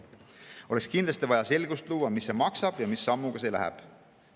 Oleks kindlasti vaja luua selgust, mis see maksab ja mis sammuga see edasi läheb.